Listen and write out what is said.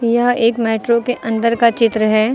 यह एक मेट्रो के अंदर का चित्र है।